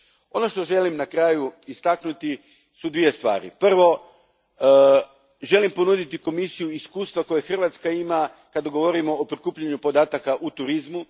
Ono što želim na kraju istaknuti su dvije stvari. Prvo, želim ponuditi Komisiji iskustva koja Hrvatska ima kad govorimo o prikupljanju podataka u turizmu.